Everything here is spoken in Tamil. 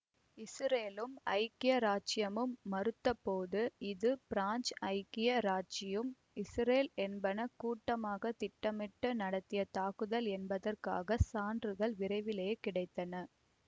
இசுரேலும் ஐக்கிய இராச்சியமும் மறுத்தபோது இது பிரான்சு ஐக்கிய இராச்சியம் இசுரேல் என்பன கூட்டாக திட்டமிட்டு நடத்திய தாக்குதல் என்பதற்காக சான்றுகள் விரைவிலேயே கிடைத்தன